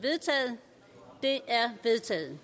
vedtaget